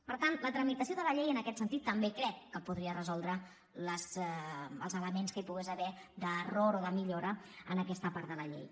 per tant la tramitació de la llei en aquest sentit també crec que podria resoldre els elements que hi pogués haver d’error o de millora en aquesta part de la llei